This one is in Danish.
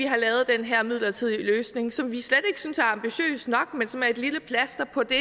har lavet den her midlertidige løsning som vi slet ikke synes er ambitiøs nok men som er et lille plaster på det